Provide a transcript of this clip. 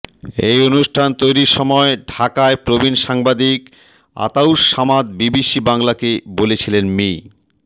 এই অনুষ্ঠান তৈরির সময় ঢাকায় প্রবীণ সাংবাদিক আতাউস সামাদ বিবিসি বাংলাকে বলেছিলেন মি